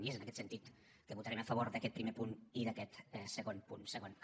i és en aquest sentit que votarem a favor d’aquest primer punt i d’aquest segon punt segon a